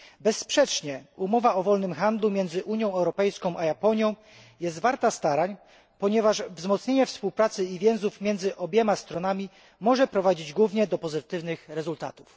Bezsprzecznie umowa o wolnym handlu między Unia Europejską a Japonią jest warta starań, ponieważ wzmocnienie współpracy i więzi pomiędzy obiema stronami może prowadzić głównie do pozytywnych rezultatów.